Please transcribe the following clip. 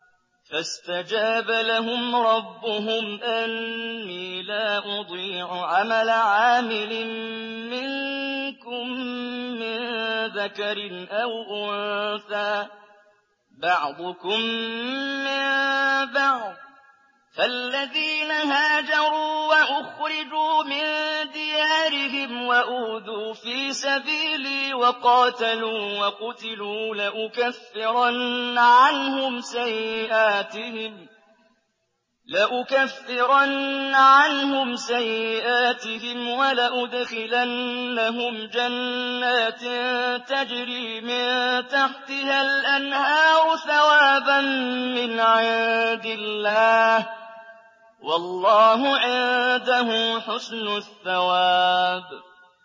فَاسْتَجَابَ لَهُمْ رَبُّهُمْ أَنِّي لَا أُضِيعُ عَمَلَ عَامِلٍ مِّنكُم مِّن ذَكَرٍ أَوْ أُنثَىٰ ۖ بَعْضُكُم مِّن بَعْضٍ ۖ فَالَّذِينَ هَاجَرُوا وَأُخْرِجُوا مِن دِيَارِهِمْ وَأُوذُوا فِي سَبِيلِي وَقَاتَلُوا وَقُتِلُوا لَأُكَفِّرَنَّ عَنْهُمْ سَيِّئَاتِهِمْ وَلَأُدْخِلَنَّهُمْ جَنَّاتٍ تَجْرِي مِن تَحْتِهَا الْأَنْهَارُ ثَوَابًا مِّنْ عِندِ اللَّهِ ۗ وَاللَّهُ عِندَهُ حُسْنُ الثَّوَابِ